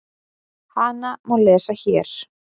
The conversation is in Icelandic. Hana má lesa HÉR.